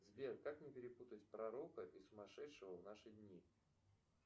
сбер как не перепутать пророка и сумасшедшего в наши дни